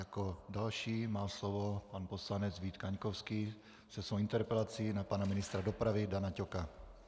Jako další má slovo pan poslanec Vít Kaňkovský se svou interpelací na pana ministra dopravy Dana Ťoka.